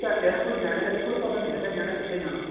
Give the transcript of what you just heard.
ਪੰਜਵੀਂ ਤੱਕ ਆਂ ਕੋਈ ਨਿਆਣੇ ਦਾ ਅੱਗੇ ਕੋਈ ਪਤਾ ਨਹੀਂ ਹੈਗਾ ਨਿਆਣੇ ਨੇ ਕਿਥੇ ਜਾਣਾ